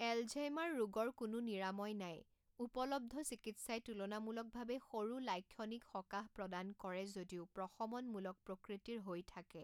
Alzheimer ৰোগৰ কোনো নিৰাময় নাই; উপলব্ধ চিকিৎসাই তুলনামূলকভাৱে সৰু লাক্ষণিক সকাহ প্ৰদান কৰে যদিও প্ৰশমনমূলক প্ৰকৃতিৰ হৈ থাকে।